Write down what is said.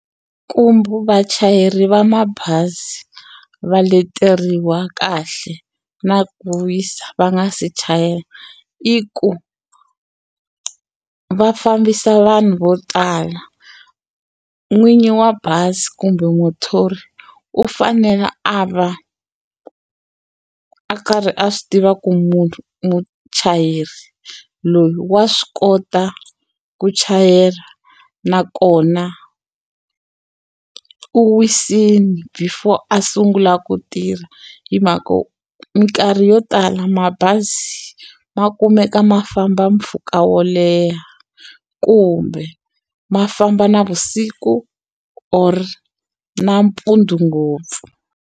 Kumbe vachayeri va mabazi va leteriwa kahle na ku wisa va nga se chayela i ku va fambisa vanhu vo tala n'winyi wa bazi kumbe muthori u fanele a va a karhi a swi tiva ku munhu muchayeri loyi wa swi kota ku chayela nakona u wisile before a sungula ku tirha hi mhaka minkarhi yo tala mabazi ma kumeka ma famba mpfhuka wo leha kumbe ma famba navusiku or nampundzu ngopfu.